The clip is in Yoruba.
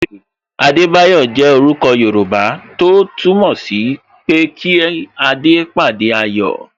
Adebayo jẹ orúkọ Yoruba tó túmọ̀ sí pé kí adé pàdé ayọ̀